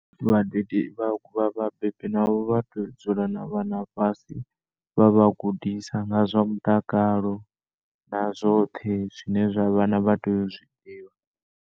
Vhadede vha vha vhabebi navho vhatea u dzula na vhana fhasi vhavha gudisa nga zwa mutakalo na zwoṱhe zwine zwavha na vhana vhatea uzwi ḓivha.